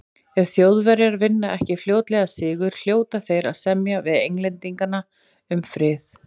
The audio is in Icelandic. Ef Þjóðverjar vinna ekki fljótlega sigur, hljóta þeir að semja við Englendinga um frið.